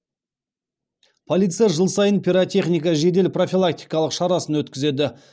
полиция жыл сайын пиротехника жедел профилактикалық шарасын өткізеді